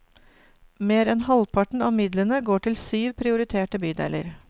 Mer enn halvparten av midlene går til syv prioriterte bydeler.